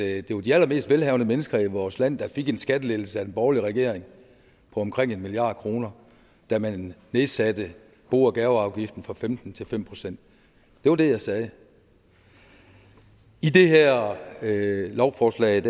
at det var de allermest velhavende mennesker i vores land der fik en skattelettelse af den borgerlige regering på omkring en milliard kr da man nedsatte bo og gaveafgiften fra femten til fem procent det var det jeg sagde i det her lovforslag